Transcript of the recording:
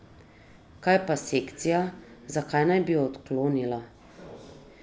Kaj pa sekcija, zakaj naj bi jo odklonila?